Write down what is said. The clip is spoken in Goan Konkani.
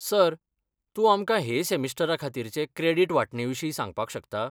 सर, तूं आमकां हे सेमिस्टराखातीरचे क्रॅडीट वांटणेविशीं सांगपाक शकता?